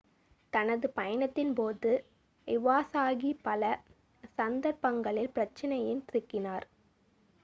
தனது பயணத்தின்போது இவாசாகி பல சந்தர்ப்பங்களில் பிரச்சனையில் சிக்கினார்